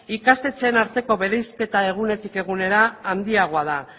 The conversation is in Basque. ikastetxeen arteko bereizketa egunetik egunera handiagoa da